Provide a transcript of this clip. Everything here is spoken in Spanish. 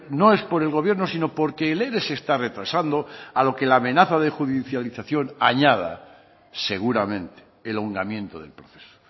no es por el gobierno sino porque el ere se está retrasando a lo que la amenaza de judicialización añada seguramente el ahondamiento del proceso